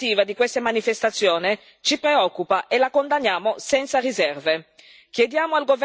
La repressione governativa di queste manifestazioni ci preoccupa e la condanniamo senza riserve.